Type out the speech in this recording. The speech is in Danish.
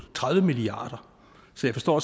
tredive milliard kr så jeg forstår